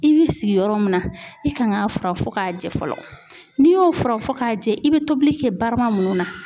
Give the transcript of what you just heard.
I b'i sigi yɔrɔ mun na i kan k'a fura fɔ k'a jɛ fɔlɔ n'i y'o furan fɔ k'a jɛ i bɛ tobili kɛ barama minnu na